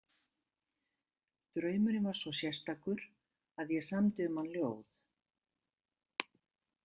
Draumurinn var svo sérstakur að ég samdi um hann ljóð